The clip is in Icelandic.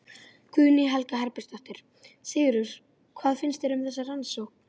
Guðný Helga Herbertsdóttir: Sigurður, hvað finnst þér um þessa rannsókn?